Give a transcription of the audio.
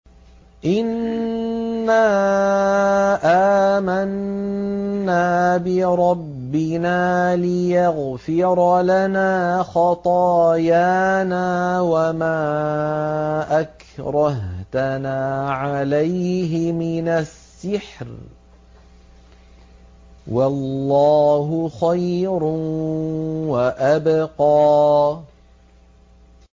إِنَّا آمَنَّا بِرَبِّنَا لِيَغْفِرَ لَنَا خَطَايَانَا وَمَا أَكْرَهْتَنَا عَلَيْهِ مِنَ السِّحْرِ ۗ وَاللَّهُ خَيْرٌ وَأَبْقَىٰ